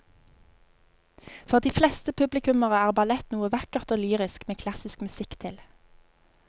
For de fleste publikummere er ballett noe vakkert og lyrisk med klassisk musikk til.